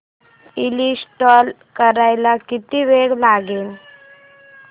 install करायला किती वेळ लागेल